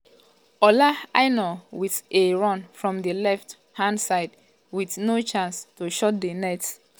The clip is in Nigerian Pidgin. ola aina wit a um run from di left um hand side but no chance to shoot at di net.